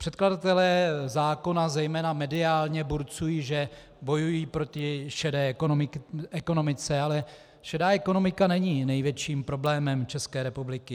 Předkladatelé zákona zejména mediálně burcují, že bojují proti šedé ekonomice, ale šedá ekonomika není největším problémem České republiky.